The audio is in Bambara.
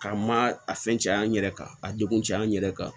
K'a ma a fɛn caya an yɛrɛ kan a degun caya an yɛrɛ kan